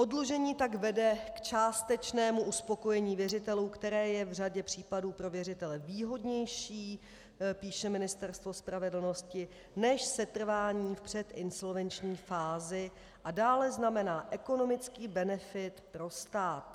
Oddlužení tak vede k částečnému uspokojení věřitelů, které je v řadě případů pro věřitele výhodnější, píše Ministerstvo spravedlnosti, než setrvání v předinsolvenční fázi, a dále znamená ekonomický benefit pro stát.